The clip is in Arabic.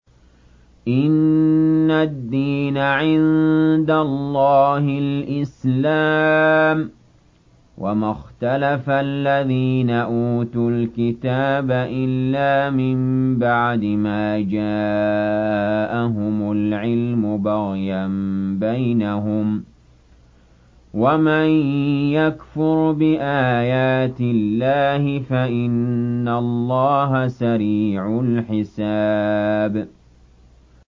إِنَّ الدِّينَ عِندَ اللَّهِ الْإِسْلَامُ ۗ وَمَا اخْتَلَفَ الَّذِينَ أُوتُوا الْكِتَابَ إِلَّا مِن بَعْدِ مَا جَاءَهُمُ الْعِلْمُ بَغْيًا بَيْنَهُمْ ۗ وَمَن يَكْفُرْ بِآيَاتِ اللَّهِ فَإِنَّ اللَّهَ سَرِيعُ الْحِسَابِ